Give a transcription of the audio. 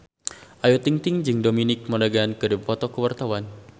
Ayu Ting-ting jeung Dominic Monaghan keur dipoto ku wartawan